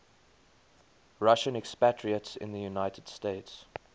russian expatriates in the united states